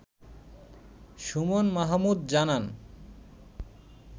সুমন মাহমুদ জানান